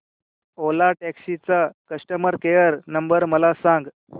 ओला taxi चा customer care number मला सांग